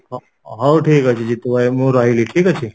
ହଁ ହଉ ଠିକ ଅଛି ଜିତୁ ଭାଇ ମୁଁ ରହିଲି ଠିକ ଅଛି?